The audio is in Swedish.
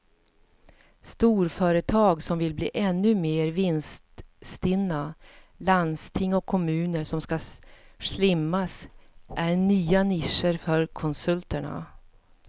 Storföretag som vill bli ännu mer vinststinna, landsting och kommuner som ska slimmas är nya nischer för konsulterna.